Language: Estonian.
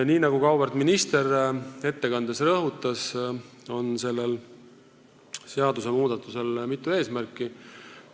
Nii nagu ka auväärt minister ettekandes rõhutas, on sellel seadusmuudatusel mitu eesmärki.